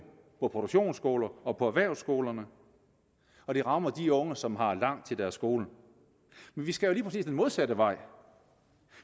på produktionsskolerne og på erhvervsskolerne og den rammer de unge som har langt til deres skole men vi skal jo lige præcis den modsatte vej